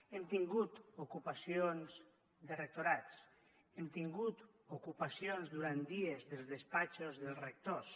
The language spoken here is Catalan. hem tingut ocupacions de rectorats hem tingut ocupacions durant dies dels despatxos dels rectors